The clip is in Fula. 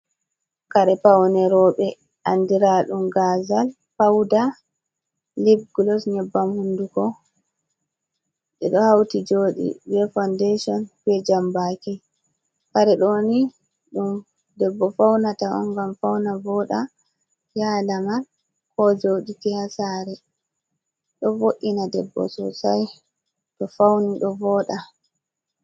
Kare paune roɓe, andira ɗum gazal, pauda, livgulos, nyebbam hundugo ɗe ɗo hauti joɗi.Be faudeshon be jambaki, kare ɗoni ɗum debbo faunata'on ngam fauna voɗa yaha lamar ko joɗa ha saree.ɗo vo’ina debbo sosai to fauni ɗo voɗa.